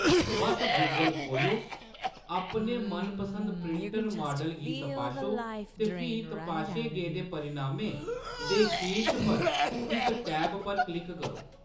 बस्स Google खो'ल्लो, अपने मनपसंद प्रिंटर माडल गी तपाशो, ते फ्ही तपाशे गेदे परिणामें दे शीर्ष पर स्थित टैब पर क्लिक करो।